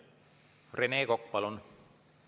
Rene Kokk, palun!